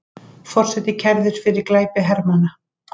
Forseti kærður fyrir glæpi hermanna